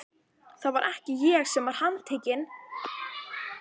Það var ekki ég sem var handtekinn.